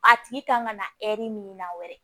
A tigi kan ka na min na wɛrɛ